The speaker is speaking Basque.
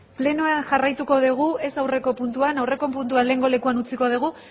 plenoa jarraituko degu ez aurreko puntuan aurreko puntua lehengo lekuan utziko dugu